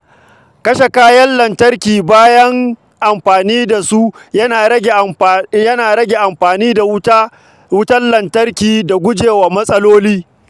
Kashe kayan lantarki bayan amfani da su yana rage amfani da wutar lantarki da guje wa matsaloli.